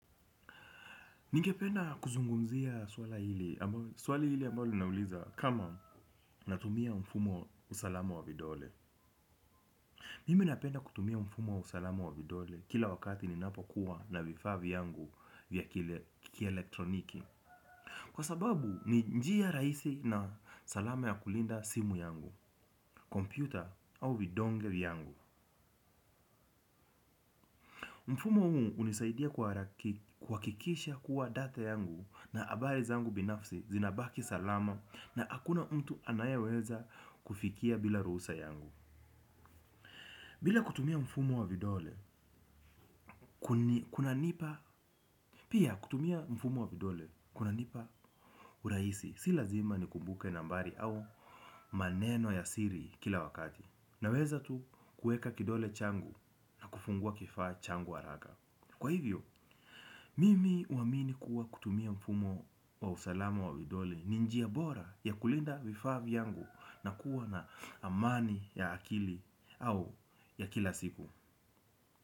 Ningependa kuzungumzia swali hili ambalo linauliza kama natumia mfumo wa usalama wa vidole. Mimi napenda kutumia mfumo wa usalama wa vidole kila wakati ninapokuwa na vifaa vyangu vya kielektroniki. Kwa sababu ni njia rahisi na salama ya kulinda simu yangu, kompyuta au vidonge yangu. Mfumo huu hunisaidia kuhakikisha kuwa data yangu na habari zangu binafsi zinabaki salama na hakuna mtu anayeweza kufikia bila ruhusa yangu. Bila kutumia mfumo wa vidole, kunanipa, pia kutumia mfumo wa vidole, kunanipa urahisi, si lazima nikumbuke nambari au maneno ya siri kila wakati. Naweza tu kuweka kidole changu, kufungua kifaa changu haraka. Kwa hivyo, mimi huamini kuwa kutumia mfumo wa usalama wa vidole, ni njia bora ya kulinda vifaa vyangu na kuwa na amani ya akili au ya kila siku.